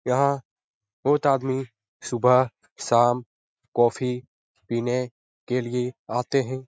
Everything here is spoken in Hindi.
यहाँ बहुत आदमी सुबह शाम कॉफ़ी पीने के लिए आते हैं।